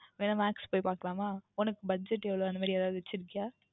வேணுமென்றால் Max க்கு போய் பார்க்கலாம் உனக்கு Budget எவ்வளவு அந்த மாதிரி எதாவுது வைத்து இருக்கின்றாயா